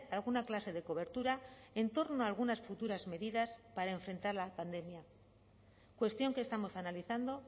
alguna clase de cobertura en torno a algunas futuras medidas para enfrentar la pandemia cuestión que estamos analizando